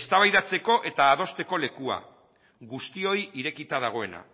eztabaidatzeko eta adosteko lekua guztioi irekita dagoena